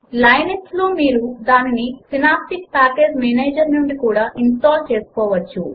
Linux లో మీరు దానిని సినాప్టిక్ ప్యాకేజ్ మేనేజర్ నుంచి కూడా ఇన్స్టాల్ చేసుకోవచ్చు